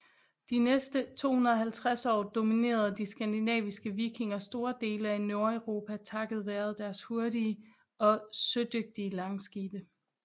De næste 250 år dominerede de skandinaviske vikinger store dele af Nordeuropa takket være deres hurtige og sødygtige langskibe